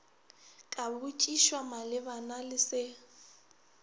ka botšišwa malebana le se